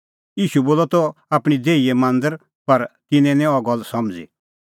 ईशू बोलअ त आपणीं देही लै मांदर पर तिन्नैं निं अह गल्ल समझ़ी